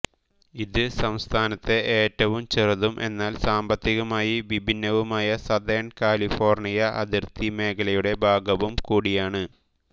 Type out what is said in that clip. ഇത് സംസ്ഥാനത്തെ ഏറ്റവും ചെറുതും എന്നാൽ സാമ്പത്തികമായി വിഭിന്നവുമായ സതേൺ കാലിഫോർണിയ അതിർത്തി മേഖലയുടെ ഭാഗവുംകൂടിയാണ്